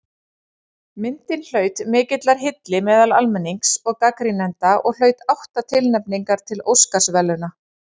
Myndin naut mikillar hylli bæði almennings og gagnrýnenda og hlaut átta tilnefningar til Óskarsverðlauna.